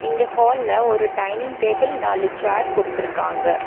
இங்க ஹால்ல ஒரு டைனிங் டேபிள் நாலு சேர் குடுத்துருக்காங்க.